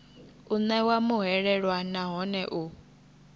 u ṋewa muhwelelwa nahone u